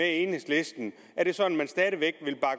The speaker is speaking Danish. enhedslisten er det sådan